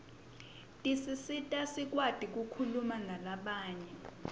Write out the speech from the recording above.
tisisita sikwati kukhulumanalabanye